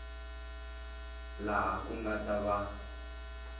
laha ku nga ta va